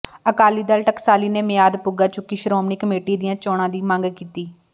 ਅਕਾਲੀ ਦਲ ਟਕਸਾਲੀ ਨੇ ਮਿਆਦ ਪੁਗਾ ਚੁੱਕੀ ਸ਼੍ਰੋਮਣੀ ਕਮੇਟੀ ਦੀਆਂ ਚੋਣਾਂ ਦੀ ਮੰਗ ਕੀਤੀ